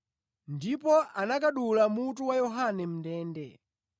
ndipo anakadula mutu wa Yohane mʼndende.